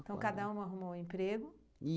Então, cada uma arrumou um emprego.